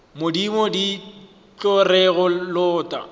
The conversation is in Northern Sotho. modimo di tlo re lota